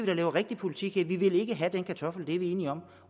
da lave rigtig politik her vi vil ikke have den kartoffel det er vi enige om